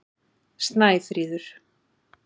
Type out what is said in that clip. Snæfríður